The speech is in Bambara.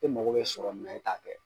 E mago be sɔrɔ min na e t'a kɛ